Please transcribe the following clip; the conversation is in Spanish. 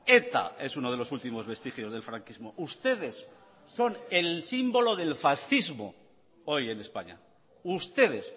eta es uno de los últimos vestigios del franquismo ustedes son el símbolo del fascismo hoy en españa ustedes